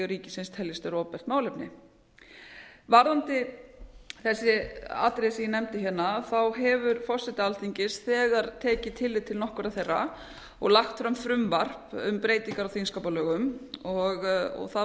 ríkisins teljist vera opinbert málefni varðandi þessi atriði sem ég nefndi hérna hefur forseti alþingis þegar tekið tillit til nokkurra þeirra og lagt fram frumvarp um breytingar á þingskapar lögum það